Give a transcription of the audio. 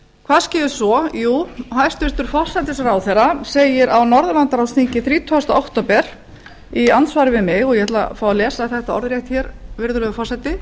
hvað skeður svo jú hæstvirtur forsætisráðherra segir á norðurlandaráðsþingi þrítugasta október í andsvari við mig og ég ætla að fá að lesa þetta orðrétt virðulegi forseti